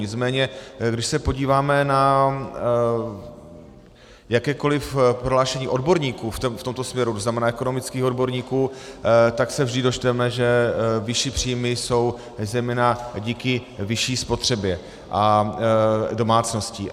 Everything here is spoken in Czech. Nicméně když se podíváme na jakékoliv prohlášení odborníků v tomto směru, to znamená ekonomických odborníků, tak se vždy dočteme, že vyšší příjmy jsou zejména díky vyšší spotřebě domácností.